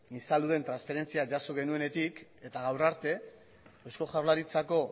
insaluden transferentzia jaso genuenetik eta gaur arte eusko jaurlaritzako